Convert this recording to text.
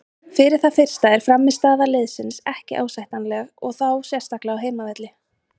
Fyrir það fyrsta er frammistaða liðsins ekki ásættanlega og þá sérstaklega á heimavelli.